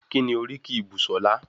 Kíni oríkì Busola?